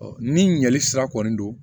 ni ɲɛli sira kɔni don